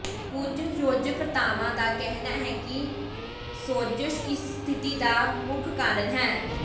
ਕੁਝ ਖੋਜਕਰਤਾਵਾਂ ਦਾ ਕਹਿਣਾ ਹੈ ਕਿ ਸੋਜਸ਼ ਇਸ ਸਥਿਤੀ ਦਾ ਮੁੱਖ ਕਾਰਨ ਹੈ